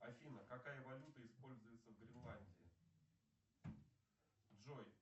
афина какая валюта используется в гренландии джой